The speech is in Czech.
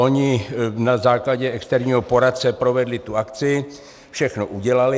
Oni na základě externího poradce provedli tu akci, všechno udělali.